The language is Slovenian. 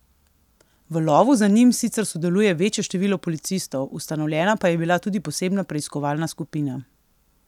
V lovu za njimi sicer sodeluje večje število policistov, ustanovljena pa je bila tudi posebna preiskovalna skupina.